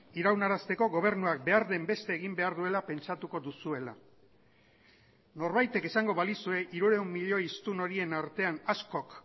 iraunarazteko gobernuak behar den beste egin behar duela pentsatuko duzuela norbaitek esango balizue hirurehun milioi hiztun horien artean askok